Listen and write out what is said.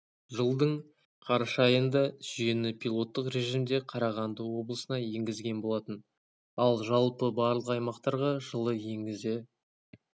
жылдың қараша айында жүйені пилоттық режимде қарағанды облысына енгізген болатын ал жалпы барлық аймақтарға жылы енгізе